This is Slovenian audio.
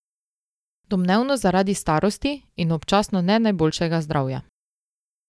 Domnevno zaradi starosti in občasno ne najboljšega zdravja.